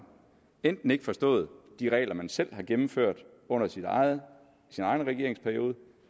enten ikke forstået de regler man selv har gennemført under sin egen regeringsperiode